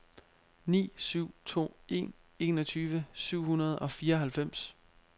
ni syv to en enogtyve syv hundrede og fireoghalvfems